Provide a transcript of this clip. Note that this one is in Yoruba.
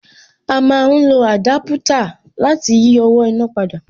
A má ń lo àdápútà láti yí owó iná padà